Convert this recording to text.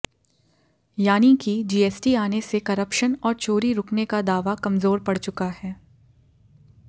यानी कि जीएसटी आने से करप्शन और चोरी रूकने का दावा कमज़ोर पड़ चुका है